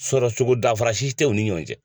Sɔrɔcogo danfara si t'u ni ɲɔgɔn cɛ.